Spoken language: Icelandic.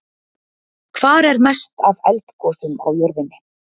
Hvar er mest af eldgosum á jörðinni?